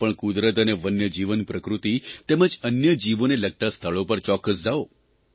તમે પણ કુદરત અને વન્યજીવન પ્રકૃત્તિ તેમજ અન્ય જીવોને લગતાં સ્થળો પર ચોક્કસ જાવ